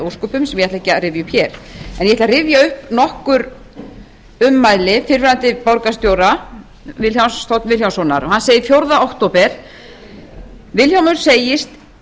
ósköpum sem ég ætla ekki að rifja upp hér en ég ætla að rifja upp nokkur ummæli fyrrverandi borgarstjóra vilhjálms þ vilhjálmssonar hann segir fjórða október vilhjálmur segist